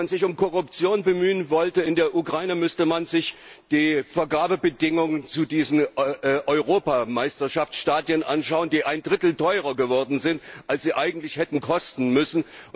Wenn man sich um Korruption in der Ukraine bemühen wollte, müsste man sich die Vergabebedingungen zu diesen Europameisterschaftsstadien anschauen, die ein Drittel teurer geworden sind, als sie eigentlich hätten kosten sollen.